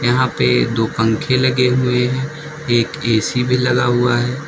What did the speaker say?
यहाँ पे दो पंखे लगे हुए है एक ऐसी भी लगा हुआ है।